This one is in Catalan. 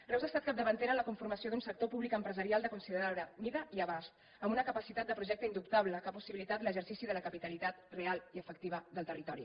reus ha estat capdavantera en la conformació d’un sector públic empresarial de considerable mida i abast amb una capacitat de projecte indubtable que ha possibilitat l’exercici de la capitalitat real i efectiva del territori